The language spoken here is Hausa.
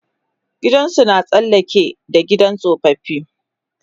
gidansu na tsallake da gidan tsofaffi